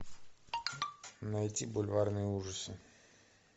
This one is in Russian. найти бульварные ужасы